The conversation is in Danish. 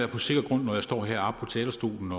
på sikker grund når jeg står heroppe på talerstolen